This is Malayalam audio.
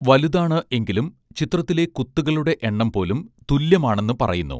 വലുതാണ് എങ്കിലും ചിത്രത്തിലെ കുത്തുകളുടെ എണ്ണം പോലും തുല്യമാണെന്ന് പറയുന്നു